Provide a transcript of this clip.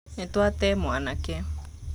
Nĩtwate mwanake.